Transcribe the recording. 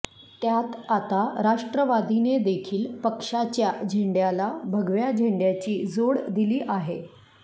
त्यात आता राष्ट्रवादीने देखील पक्षाच्या झेंड्याला भगव्या झेंड्याची जोड दिली आहे